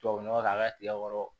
Tubabu nɔgɔ k'a ka tigɛ kɔrɔ